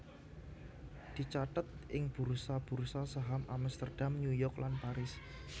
dicathet ing bursa bursa saham Amsterdam New York lan Paris